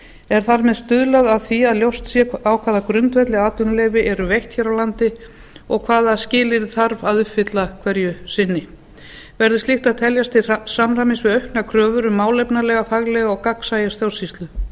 er þar með stuðlað að því að ljóst sé á hvaða grundvelli atvinnuleyfi eru veitt hér á landi og hvaða skilyrði þarf að uppfylla hverju sinni verður slíkt að teljast til samræmis við auknar kröfur um málefnalega faglega og gagnsæja stjórnsýslu